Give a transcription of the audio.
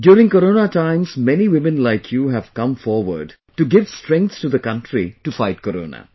During corona times many women like you have come forward to give strength to the country to fight corona